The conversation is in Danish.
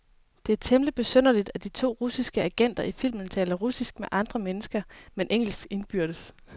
Det er temmeligt besynderligt, at de to russiske agenter i filmen taler russisk med andre mennesker, men engelsk indbyrdes.